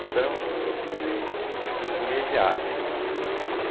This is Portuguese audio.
Então eu fui, né, privilegiado, né.